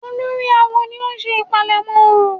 Olórí awo ni ó ń ṣe ìpalẹ̀mọ́ orò?